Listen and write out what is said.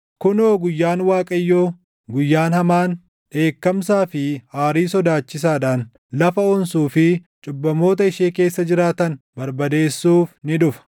Kunoo guyyaan Waaqayyoo, guyyaan hamaan, dheekkamsaa fi aarii sodaachisaadhaan, lafa onsuu fi cubbamoota ishee keessa jiraatan barbadeessuuf ni dhufa.